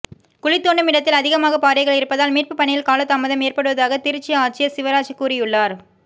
குழி தோண்டும் இடத்தில் அதிகமாக பாறைகள் இருப்பதால் மீட்புப் பணியில் காலதாமதம் ஏற்படுவதாக திருச்சி ஆட்சியர் சிவராஜ் கூறியுள்ளார்